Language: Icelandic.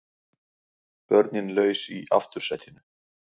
Börnin laus í aftursætinu